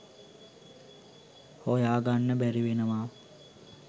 හොයා ගන්න බැරිවෙනවා.